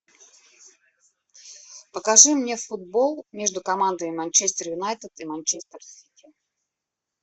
покажи мне футбол между командами манчестер юнайтед и манчестер сити